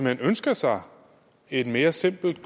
hen ønsker sig et mere simpelt